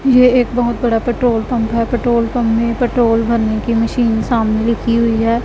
ये एक बहोत बड़ा पेट्रोल पंप है पेट्रोल पंप में पेट्रोल भरने की मशीन सामने रखी हुई है।